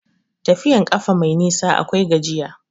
Tafiyan ƙafa mai nisa akwai gajiya.